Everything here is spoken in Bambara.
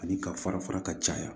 Ani ka fara fara ka caya